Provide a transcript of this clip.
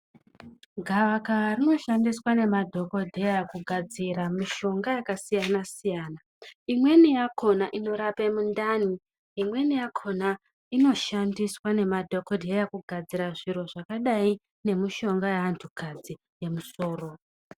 Gavakava rinoshandiswa nemadhokodheya kugadzira mishonga yakasiyana siyana imweni yakona inotape mundani imweni yakona inoshandiswa nemadhokodheya kugadzira zviro zvakadai nemushonga yeanthukadzi yemusoro.